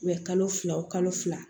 U bɛ kalo fila o kalo fila